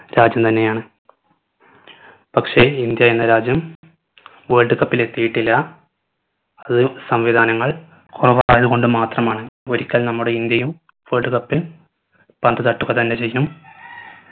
രാജ്യം തന്നെ ആണ് പക്ഷെ ഇന്ത്യ എന്ന രാജ്യം world cup ൽ എത്തിയിട്ടില്ല അത് സംവിധാനങ്ങൾ കുറവ് ആയത് കൊണ്ടുമാത്രമാണ് ഒരിക്കൽ നമ്മുടെ ഇന്ത്യയും world cup ൽ പന്ത് തട്ടുക തന്നെ ചെയ്യും